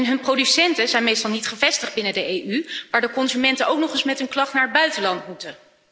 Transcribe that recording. Hun producenten zijn meestal niet gevestigd binnen de EU, waardoor consumenten ook nog eens met hun klacht naar het buitenland moeten.